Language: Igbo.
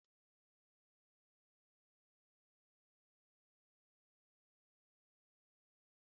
Bestie noodles na Tummy tummy noodles bụ akara noodle na-ewu ewu na Nigeria